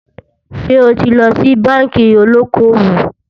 sò tí ló ṣì bánkì olókó owó?